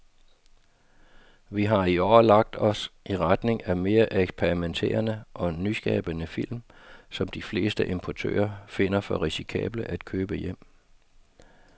Vi har i år lagt os i retning af mere eksperimenterede og nyskabende film, som de fleste importører finder for risikable at købe hjem.